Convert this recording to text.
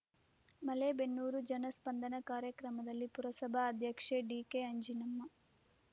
ಮಲೇಬೆನ್ನೂರು ಜನಸ್ಪಂದನ ಕಾರ್ಯಕ್ರಮದಲ್ಲಿ ಪುರಸಭಾ ಅಧ್ಯಕ್ಷೆ ಡಿಕೆಅಂಜಿನಮ್ಮ